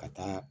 Ka taa